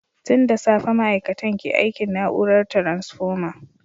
Tun da safe ma’aikatan ke aikin na’urar taransfoma.